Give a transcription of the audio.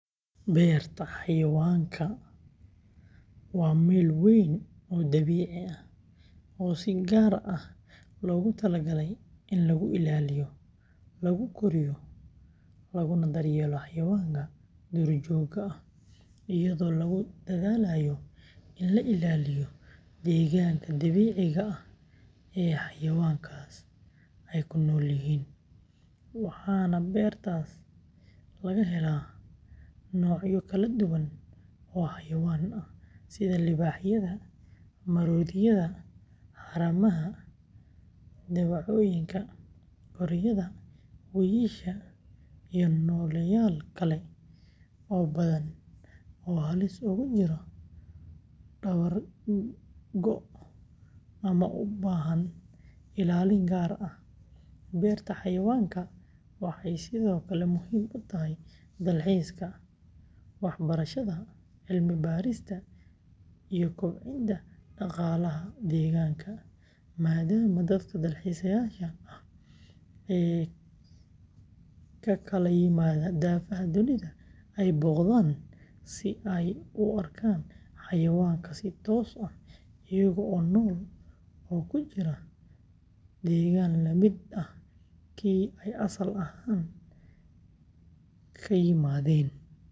Beerta xayawaanka, waa meel weyn oo dabiici ah oo si gaar ah loogu talagalay in lagu ilaaliyo, lagu koriyo, laguna daryeelo xayawaanka duurjoogta ah, iyadoo lagu dadaalayo in la ilaaliyo deegaanka dabiiciga ah ee xayawaankaas ay ku noolyihiin, waxaana beertaas laga helaa noocyo kala duwan oo xayawaan ah sida libaaxyada, maroodiyada, haramaha, dawacooyinka, gorayada, wiyisha, iyo nooleyaal kale oo badan oo halis ugu jira dabar go’ ama u baahan ilaalin gaar ah, beerta xayawaanka waxay sidoo kale muhiim u tahay dalxiiska, waxbarashada, cilmi-baarista iyo kobcinta dhaqaalaha deegaanka, maadaama dadka dalxiisayaasha ah ee ka kala yimaada daafaha dunida ay booqdaan si ay u arkaan xayawaankan si toos ah iyaga oo nool oo ku jira deegaan la mid ah kii ay asal ahaan ka yimaadeen.